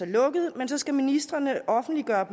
lukket men så skal ministrene offentliggøre